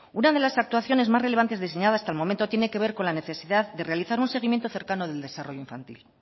una de las actuaciones más relevante diseñada hasta el momento tiene que ver con la necesidad de realizar un seguimiento cercano del desarrollo infantil